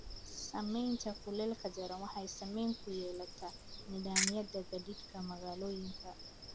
Saameynta kuleylka daran waxay saameyn ku yeelataa nidaamyada gaadiidka magaalooyinka.